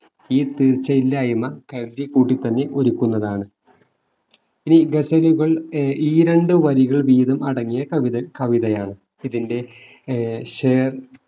ഈ തീർച്ചയില്ലായ്മ കരുതിക്കൂട്ടി തന്നെ ഒരുക്കുന്നതാണ് ഈ ഗസലുകൾ ഏർ ഈരണ്ടുവരികൾ വീതം അടങ്ങിയ കവിത കവിതയാണ് ഇതിന്റെ ഏർ ഷേർ